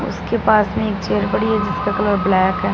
उसके पास में एक चेयर पड़ी है जिसका कलर ब्लैक है।